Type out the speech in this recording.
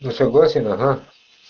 ну согласен ага